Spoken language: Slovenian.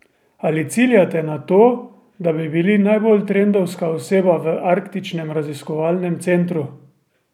Ali ciljate na to, da bi bili najbolj trendovska oseba v arktičnem raziskovalnem centru?